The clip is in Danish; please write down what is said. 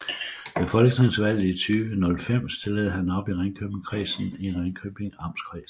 Ved folketingsvalget 2005 stillede han op i Ringkøbingkredsen i Ringkøbing Amtskreds